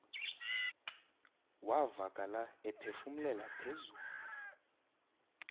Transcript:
wavakala ephefumlela phezulu